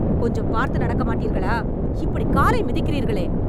கொஞ்சம் பார்த்து நடக்க மாட்டீர்களா? இப்படி காலை மிதிக்கிறீர்களே..